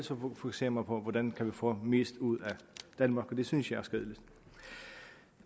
fokuserer man på hvordan man kan få mest ud af danmark og det synes jeg